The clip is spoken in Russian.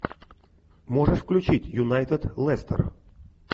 можешь включить юнайтед лестер